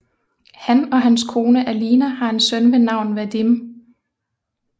Han og hans kone Alina har en søn ved navn Vadim